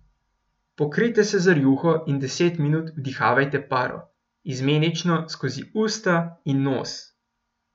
Pokrijte se z rjuho in deset minut vdihavajte paro, izmenično skozi usta in nos.